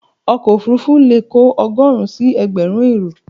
Ọkọ̀ òfurufú leè kò ogóòrun si egbèrin èrò